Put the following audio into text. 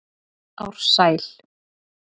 Ársæl